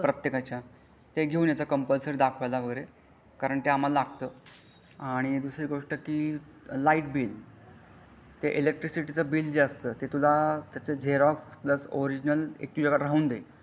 प्रत्येकाच्या ते घेऊन यायचा कंपलसरी दाखवायला वगरे कारण ते आम्हला लागत आणि दुसरी गोष्ट म्हणजे लाईट बिल ते इलेक्ट्रिसिटी चा बिल जे असता ते तुला त्याचा झरोक्स प्लस ओरिजिनल ते तुला एक हे होऊन जाईल.